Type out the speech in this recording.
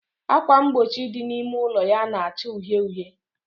Ákwà mgbochi dị n'ime ụlọ ya na-acha uhie uhie